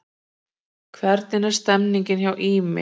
Hvernig er stemningin hjá Ými?